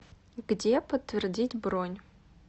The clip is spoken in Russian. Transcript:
где подтвердить бронь